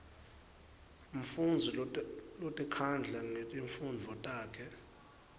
mfundzi lotikhandla ngetifundvo takhe